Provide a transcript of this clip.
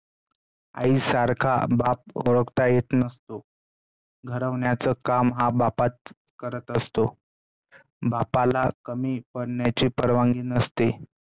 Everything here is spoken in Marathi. आईसारखा बाप ओळखता येत नसतो, घडवण्याचं काम हा बापच करत असतो. बापाला कमी पडण्याची परवानगी नसते,